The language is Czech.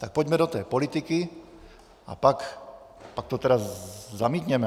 Tak pojďme do té politiky a pak to tedy zamítněme.